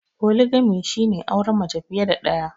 Foligamy shi ne auren mace fiye da daya.